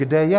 Kde je?